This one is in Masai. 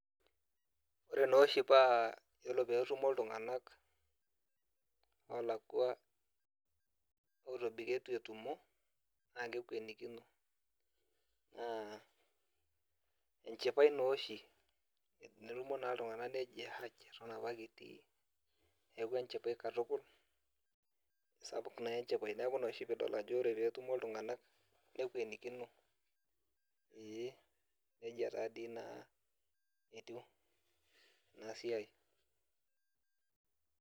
Ore doi oshi paa ore peyie etumo iltunganak ootobiko etu etumo, naa kekwenikino. Naa enchipae naa oshi naitaspuk. Nejia nadoi etiu ena siai